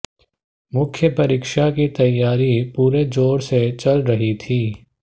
मुख्य परीक्षा की तैयारी पूरे जोर से चल रही थी